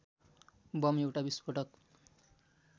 bomb एउटा विस्फोटक